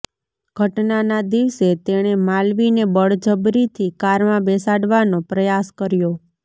ઘટનાના દિવસે તેણે માલવીને બળજબરીથી કારમાં બેસાડવાનો પ્રયાસ કર્યો